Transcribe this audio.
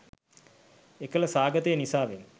එකල සාගතය නිසාවෙන්